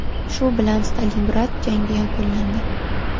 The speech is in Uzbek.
Shu bilan Stalingrad jangi yakunlandi.